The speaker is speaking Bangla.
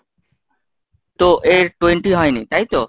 তো এর twenty হয়নি তাই তো?